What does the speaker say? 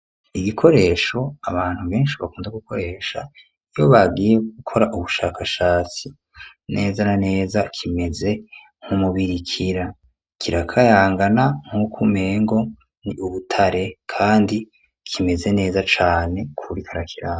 Igikoresho abantu beshi bakunda gukoresha iyo bagiye gukora ubushakashatsi neza na neza kimeze nk'umubirikira kirakayangana nkuko umengo ni ubutare kandi kimeze neza cane ku wuriko arakiba.